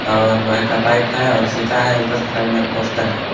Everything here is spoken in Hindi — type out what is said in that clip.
और लोहे का पाइप है और सीटा है ऊपर के साइड में पोस्टर है.